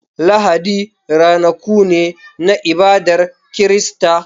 Lahadi ranaku ne na ibadar Kirista.